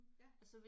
Ja